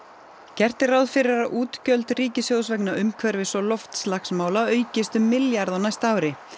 gert er ráð fyrir að útgjöld ríkissjóðs vegna umhverfis og loftslagsmála aukist um milljarð á næsta ári